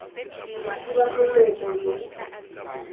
lo thiba molomo lo ise